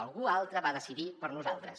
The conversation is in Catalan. algú altre va decidir per nosaltres